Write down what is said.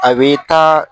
A bɛ taa